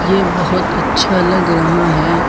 ये बहुत अच्छा लग रहा है।